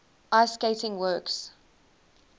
ice skating works